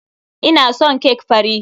Ina son cake fari.